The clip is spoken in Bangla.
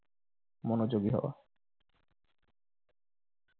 মনোযোগী হওয়া।